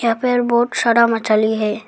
या पर बहोत सारा मछली है।